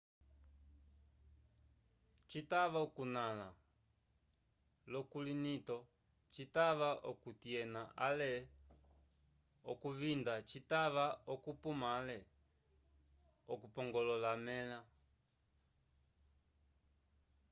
citava oku nala lo kulonlitito citava oku tiena ale oku vinda citava okupuma ale okupongolola amela